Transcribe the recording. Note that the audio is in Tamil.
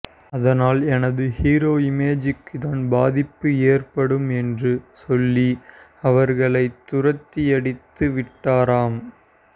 அதனால் எனது ஹீரோ இமேஜ்க்குத்தான் பாதிப்பு ஏற்படும் என்று சொல்லி அவர்களை துரத்தியடித்து விட்டாராம்